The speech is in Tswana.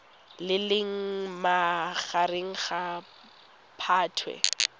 le leng magareng ga phatwe